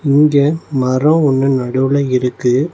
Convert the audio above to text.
இங்க மரோ ஒன்னு நடுவுல இருக்கு.